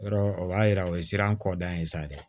Yɔrɔ o b'a yira o ye sira kɔ da ye sa dɛ